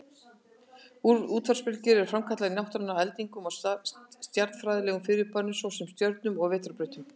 Útvarpsbylgjur eru framkallaðar í náttúrunni af eldingum og stjarnfræðilegum fyrirbærum, svo sem stjörnum og vetrarbrautum.